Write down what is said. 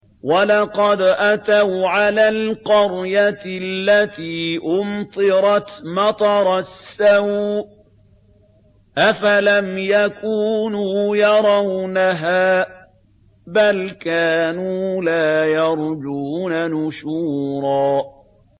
وَلَقَدْ أَتَوْا عَلَى الْقَرْيَةِ الَّتِي أُمْطِرَتْ مَطَرَ السَّوْءِ ۚ أَفَلَمْ يَكُونُوا يَرَوْنَهَا ۚ بَلْ كَانُوا لَا يَرْجُونَ نُشُورًا